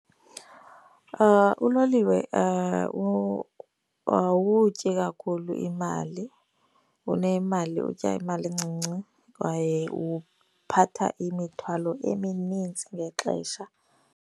Uloliwe awutyi kakhulu imali. Unemali, utya imali encinci kwaye uphatha imithwalo eminintsi ngexesha.